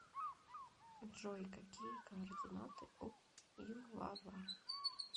джой какие координаты у ювава